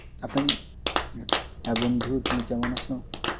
হ্যাঁ বন্ধু তুমি কেমন আছো?